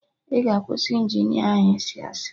Ị ga akwụsị Injinia ahụ ịsị asị